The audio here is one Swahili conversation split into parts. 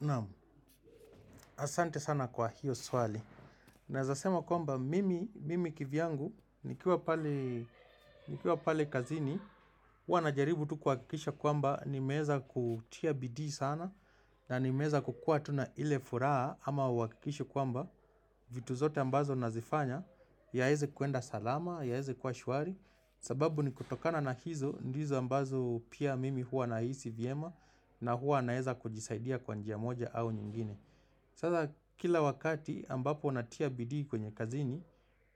Naam, asante sana kwa hiyo swali. Naeza sema kwamba, mimi, mimi kivyangu, nikiwa pale kazini, huwa najaribu tu kuhakikisha kwamba, nimeza kutia bidi sana, na nimeza kukua tuna ile furaha, ama wakikisha kwamba, vitu zote ambazo nazifanya, yaeze kuenda salama, yaeze kuwa shwari, sababu ni kutokana na hizo, ndizo ambazo pia mimi huwa nahisi vyema, na huwa naeza kujisaidia kwa njia moja au nyingine. Sasa kila wakati ambapo natia bidii kwenye kazini,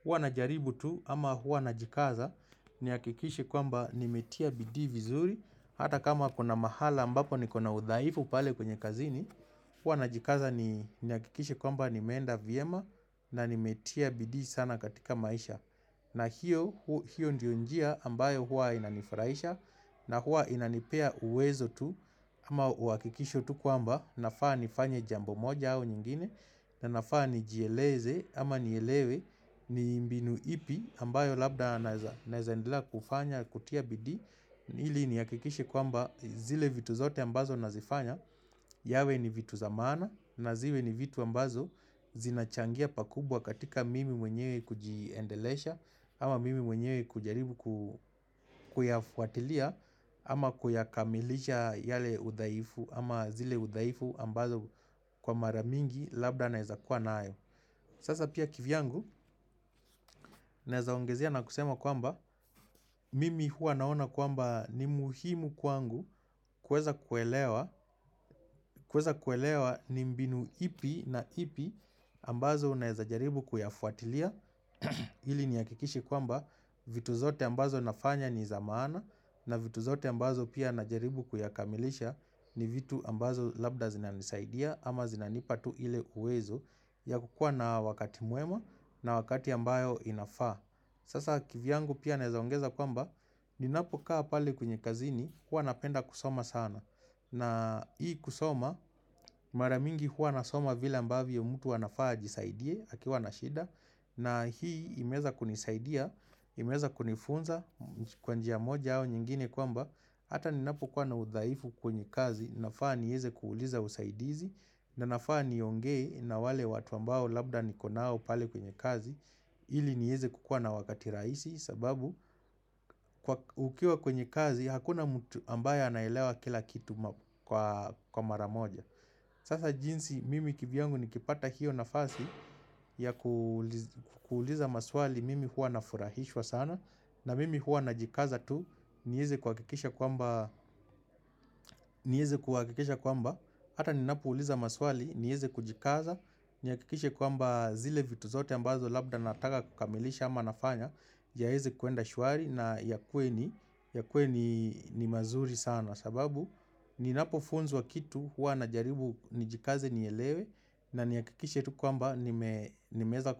huwa najaribu tu ama hua najikaza nihakikishe kwamba nimetia bidii vizuri hata kama kuna mahala ambapo nikona udhaifu pale kwenye kazini, huwa najikaza nihakikishe kwamba nimeenda vyema na nimetia bidi sana katika maisha. Na hiyo ndiyo njia ambayo huwa inanifurahisha na huwa inanipea uwezo tu ama uhakikisho tu kwamba nafaa nifanye jambo moja au nyingine na nafaa nijieleze ama nielewe ni mbinu ipi ambayo labda naeza endelea kufanya kutia bidii ili nihakikishe kwamba zile vitu zote ambazo nazifanya yawe ni vitu zamana na zile ni vitu ambazo zinachangia pakubwa katika mimi mwenyewe kujiendelesha ama mimi mwenyewe kujaribu kuyafuatilia ama kuyakamilisha yale udhaifu ama zile udaifu ambazo kwa maramingi Labda naeza kuwa nayo Sasa pia kivyangu Naeza ongezea na kusema kwamba Mimi hua naona kwamba ni muhimu kwangu kuweza kuelewa ni mbinu ipi na ipi ambazo naeza jaribu kuyafuatilia ili nihakikishe kwamba vitu zote ambazo nafanya niza maana na vitu zote ambazo pia najaribu kuyakamilisha ni vitu ambazo labda zinanisaidia ama zinanipa tu ile uwezo ya kukua na wakati mwema na wakati ambayo inafaa. Sasa kivyangu pia naeza ongeza kwamba ninapo kaa pale kwenye kazini kuwa napenda kusoma sana na hii kusoma maramingi huwa nasoma vile ambavyo mtu anafaa ajisaidie akiwa na shida na hii imeeza kunisaidia imeza kunifunza kwanjia moja au nyingine kwamba hata ninapo kuwa na udhaifu kwenye kazi nafaa nieze kuuliza usaidizi na nafaa nionge na wale watu ambao labda nikonao pale kwenye kazi ili nieze kukua na wakati rahisi sababu ukiwa kwenye kazi hakuna mtu ambaye anaelewa kila kitu kwa maramoja Sasa jinsi mimi kivyangu nikipata hiyo nafasi ya kuuliza maswali mimi hua nafurahishwa sana na mimi hua najikaza tu nieze kuhakikisha kwamba Hata ninapouliza maswali nieze kujikaza Nihakikishe kwamba zile vitu zote ambazo labda nataka kukamilisha ama nafanya jahezi kuenda shuari na ya kweni ya kweni ni mazuri sana sababu ninapofunzwa kitu huwa najaribu nijikaze nielewe na nihakikishe tu kwamba nimeeza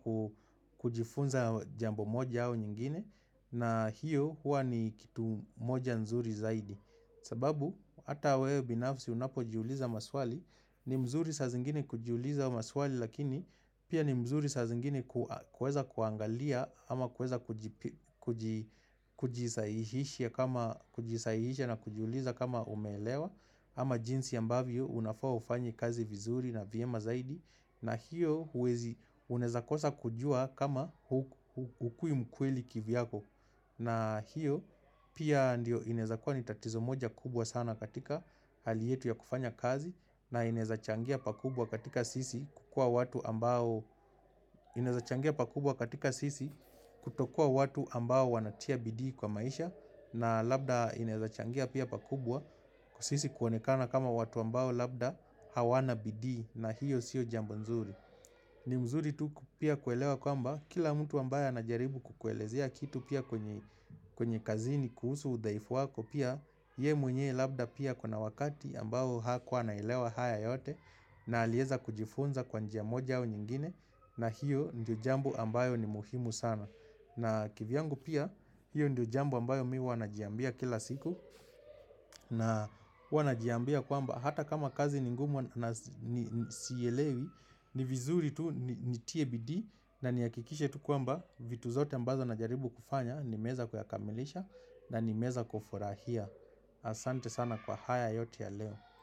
kujifunza jambo moja au nyingine na hiyo hua ni kitu moja nzuri zaidi sababu hata wewe binafsi unapo jiuliza maswali ni mzuri sa zingine kujiuliza maswali lakini pia ni mzuri sa zingine kueza kuangalia ama kweza kujisaihisha na kujuliza kama umeelewa ama jinsi ambavyo unafaa ufanye kazi vizuri na vyema zaidi na hiyo unaeza kosa kujua kama hukui mkweli kivyako na hiyo pia ndio inaeza kuwa ni tatizo moja kubwa sana katika hali yetu ya kufanya kazi na inaezachangia pakubwa katika sisi kutokua watu ambao wanatia bidi kwa maisha na labda inaezachangia pia pakubwa sisi kuonekana kama watu ambao labda hawana bidii na hiyo siyo jambo nzuri ni mzuri tu ku pia kuelewa kwamba kila mtu ambaya anajaribu kukuelezea kitu pia kwenye kazini kuhusu udhaifu wako pia ye mwenye labda pia akona wakati ambao hakuwa anaelewa haya yote na alieza kujifunza kwa njia moja wa nyingine na hiyo ndio jambo ambayo ni muhimu sana. Na kivyangu pia hiyo ndio jambo ambayo mi huwa najiambia kila siku na huwa najiambia kwamba hata kama kazi ningumu na sielewi ni vizuri tu nitie bidii na niakikishe tu kwamba vitu zote ambazo najaribu kufanya nimeza kuyakamilisha na nimeeza kufurahia. Asante sana kwa haya yote ya leo.